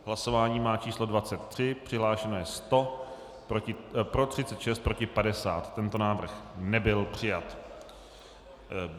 Hlasování má číslo 23, přihlášeno je 100, pro 36, proti 50, tento návrh nebyl přijat.